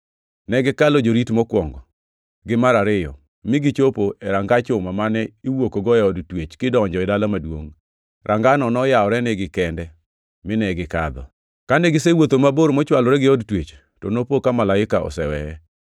Ne gikalo jorit mokwongo, gi mar ariyo mi gichopo e ranga chuma mane iwuokgo e od twech kidonjo e dala maduongʼ. Rangano noyawrenigi kende mine gikadho. Kane gisewuotho mabor mochwalore gi od twech, to nopo ka malaika oseweye.